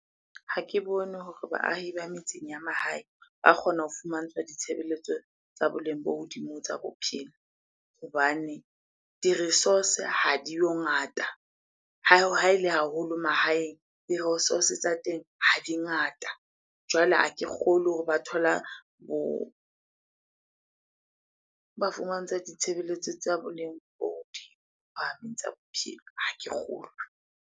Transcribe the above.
Ha ke bone hore baahi ba metseng ya mahaeng ba kgona ho fumantshwa ditshebeletso tsa boleng bo hodimo tsa bophelo hobane di-resource ha di yo ngata. Ha ele haholo mahaeng, di-resource tsa teng ha di ngata. Jwale ha ke kgolwe hore ba thola bo, ba fumantshwa ditshebeletso tsa boleng bo hodima tsa bophelo, ha ke kgolwe.